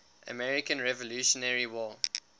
american revolutionary war